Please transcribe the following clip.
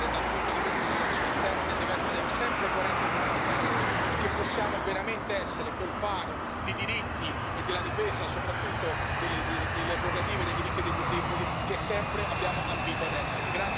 dal punto di vista delle relazioni esterne deve essere sempre coerente con i nostri valori e che possiamo veramente essere quel faro di diritti e della difesa delle prerogative e dei diritti soprattutto dei più deboli, che sempre abbiamo ambito ad essere.